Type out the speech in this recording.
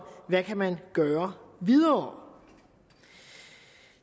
hvad man kan gøre videre